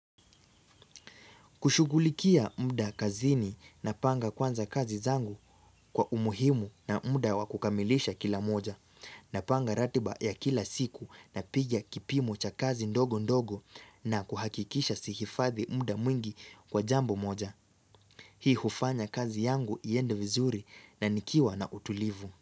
Kushugulikia muda kazini na panga kwanza kazi zangu kwa umuhimu na muda wakukamilisha kila moja na panga ratiba ya kila siku napiga kipimo cha kazi ndogo ndogo na kuhakikisha sihifadhi muda mwingi kwa jambo moja. Hii hufanya kazi yangu iende vizuri na nikiwa na utulivu.